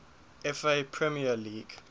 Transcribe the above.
fa premier league